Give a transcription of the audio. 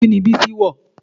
Kini bísí wọ̀?